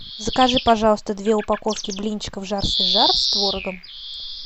закажи пожалуйста две упаковки блинчиков жар свежар с творогом